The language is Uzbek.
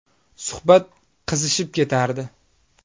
Suhbat qizishib ketardi.